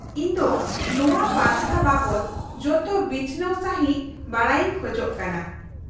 -ᱤᱧ ᱫᱚ ᱱᱚᱶᱟ ᱯᱟᱱᱛᱷᱟ ᱵᱟᱵᱚᱫ ᱡᱚᱛᱚ ᱵᱤᱪᱷᱱᱟᱹᱣ ᱥᱟᱹᱦᱤᱫ ᱵᱟᱰᱟᱭᱤᱧ ᱠᱷᱚᱡ ᱠᱟᱱᱟ ᱾